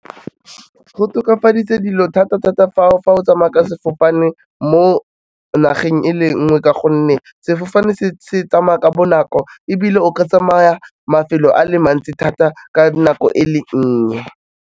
Go tokafaditse dilo thata-thata o fa o tsamaya ka sefofane mo nageng e le nngwe ka gonne sefofane se tsamaya ka bonako ebile o ke tsamaya mafelo a le mantsi thata ka dinako e le nnye.